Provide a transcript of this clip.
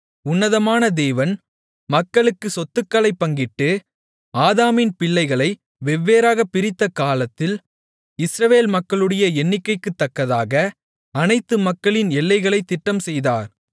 உன்னதமான தேவன் மக்களுக்குச் சொத்துக்களைப் பங்கிட்டு ஆதாமின் பிள்ளைகளை வெவ்வேறாகப் பிரித்த காலத்தில் இஸ்ரவேல் மக்களுடைய எண்ணிக்கைக்குத்தக்கதாக அனைத்து மக்களின் எல்லைகளைத் திட்டம்செய்தார்